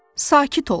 Sakit ol!